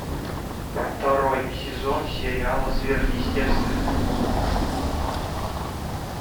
второй сезон сериала сверхъестественное